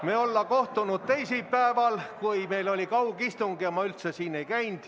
Me olevat kohtunud teisipäeval, kui meil oli kaugistung ja ma üldse siin ei käinud.